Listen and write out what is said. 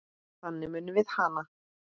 Þannig munum við hana.